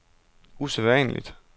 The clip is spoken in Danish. usædvanligt